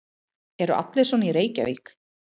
Eru allir svona í Reykjavík?